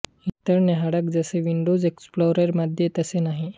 इतर न्याहाळक जसे विंडोज एक्सप्लोरर मध्ये तसे नाही